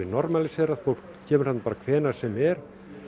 normalísera fólk kemur þarna hvenær sem er